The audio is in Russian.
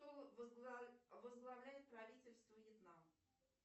кто возглавляет правительство вьетнам